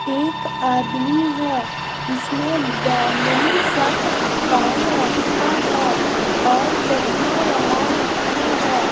एक आदमी है जिसने बैंगनी शर्ट पहन रखा है और चश्मा लगा रखा है।